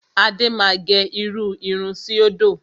Adé máa gẹ irú irun síòdò.